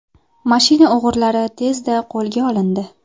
Mashina o‘g‘rilari tezda qo‘lga olindi.